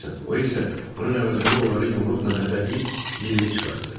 O isə bunun əvəzində onları yumruqla hədələyib dilini çıxartdı.